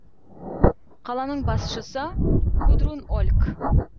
қаланың басшысы гудрун ольк